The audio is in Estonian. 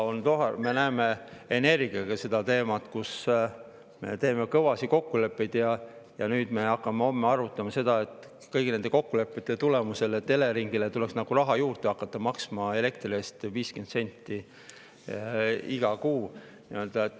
Me näeme energiaga sedasama: me teeme kõvasid kokkuleppeid ja nüüd me hakkame homme arutama kõigi nende kokkulepete tulemusel, et Eleringile tuleks hakata iga kuu juurde maksma elektri eest 50 senti.